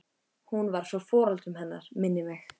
Hún var frá foreldrum hennar minnir mig.